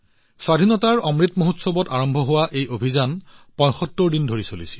স্বাধীনতাৰ অমৃত মহোৎসৱত আৰম্ভ হোৱা এই অভিযান ৭৫দিন ধৰি চলিছিল